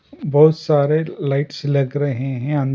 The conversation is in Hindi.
बहुत सारे लाइट्स लग रहे हैं अंद --